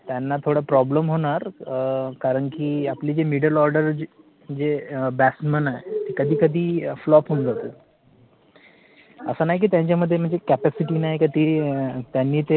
अं कारण कि आपले जे middle order batsman आहेत, ते कधी कधी, flop होऊन जातात. असं नाही के त्यांच्यामध्ये capacity नाही कि